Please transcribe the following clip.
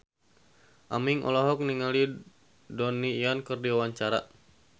Aming olohok ningali Donnie Yan keur diwawancara